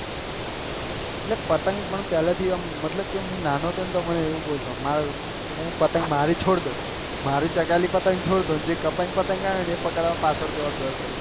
એટલે પતંગ મને પેહલા થી આમ મતલબ થી હું નાનો હતો ને મને તો બહુ શોક મારે હું પતંગ મારી છોડ દઉં મારી ચકાયેલી પતંગ છોડ દઉં જે કપાઈ ને પતંગ આવે ને એને પકડવા પાછળ દોડ દોડ કરું